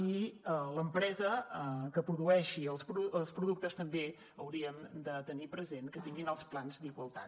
i l’empresa que produeixi els productes també hauríem de tenir present que tinguin els plans d’igualtat